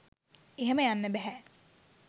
එහෙම යන්න බැහැ.